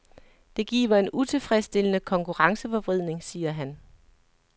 Det giver en utilfredsstillende konkurrenceforvridning, siger han.